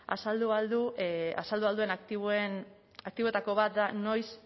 azaldu ahal duen aktiboetako bat da noiz